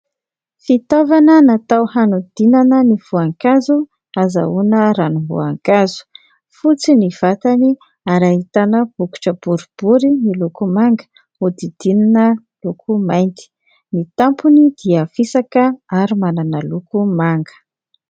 Fitaovana natao hanodinana ny voankazo ahazahoana ranomboankazo. Fotsy ny vatany ary ahitana bokotra boribory miloko manga nodidinina loko mainty. Ny tampony dia fisaka ary manana loko manga.